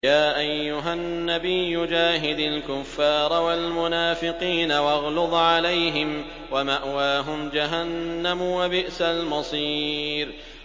يَا أَيُّهَا النَّبِيُّ جَاهِدِ الْكُفَّارَ وَالْمُنَافِقِينَ وَاغْلُظْ عَلَيْهِمْ ۚ وَمَأْوَاهُمْ جَهَنَّمُ ۖ وَبِئْسَ الْمَصِيرُ